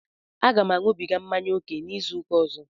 Aga m añubiga mmanya ókè n'izuụka ọzọ